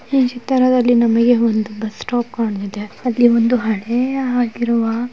ಈ ಚಿತ್ರದಲ್ಲಿ ನಮಗೆ ಒಂದು ಬಸ್ ಸ್ಟಾಪ್ ಕಾಣುತ್ತಿದೆ. ಅಲ್ಲಿ ಒಂದು ಹಳೆಯ ಆಗಿರುವ--